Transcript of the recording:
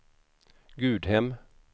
Gudhem